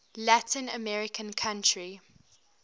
latin american country